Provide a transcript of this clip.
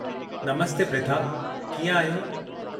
नमस्ते प्रिथा, कीअं आहियो?